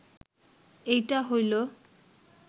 এইটা হইল